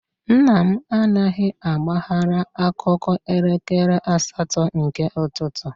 Nna m anaghị agbaghara akụkọ elekere asatọ nke ụtụtụ.